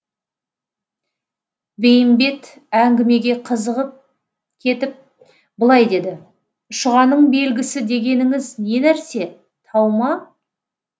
бейімбет әңгімеге қызығып кетіп былай деді шұғаның белгісі дегеніңіз не нәрсе тау ма